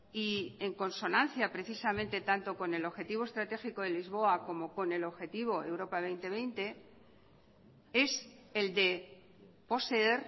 y en consonancia precisamente tanto con el objetivo estratégico de lisboa como con el objetivo europa dos mil veinte es el de poseer